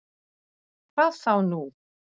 Hvað þá nú!